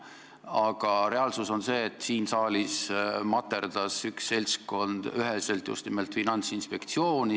Aga reaalsus on see, et siin saalis materdas üks seltskond just nimelt Finantsinspektsiooni.